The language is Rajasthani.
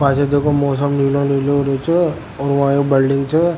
पीछे देखो मौसम नीलो नीलो होरा छे और वा या बिल्डिंग छे।